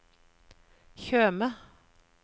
Tjøme